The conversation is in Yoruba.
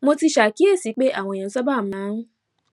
mo ti ṣàkíyèsí pé àwọn èèyàn sábà máa